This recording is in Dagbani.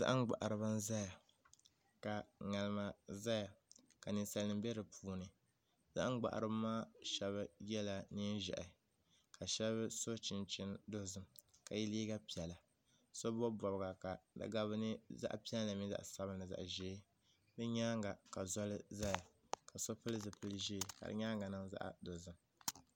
Zaham gbaharibi n ʒɛya ka ŋarima ʒɛya ka ninsal nim bɛ di puuni zaham gbaharibi maa shab yɛla neen ʒiɛhi ka shab so chinchin dozim ka yɛ liiga piɛlli so bob bobga ka di gabi zaɣ piɛlli mini zaɣ sabinli ni zaɣ ʒiɛ di nyaanga ka zoli ʒɛya ka so pili zipili ʒiɛ ka di nyaangi niŋ zaɣ dozim